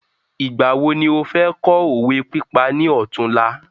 Ìgbà wo ni ọ fẹ kọ́ òwe pípa ni ọtún la?